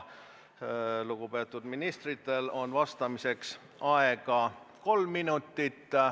Lugupeetud ministritel on vastamiseks aega kolm minutit.